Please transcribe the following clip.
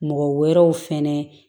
Mɔgɔ wɛrɛw fɛnɛ